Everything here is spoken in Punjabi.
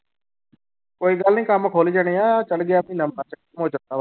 ਕੋਈ ਗੱਲ ਨੀ ਕੰਮ ਖੁੱਲ ਜਾਣੇ ਆਂ ਚੜ੍ਹ ਗਿਆ ਮਹੀਨਾ ਮਾਰਚ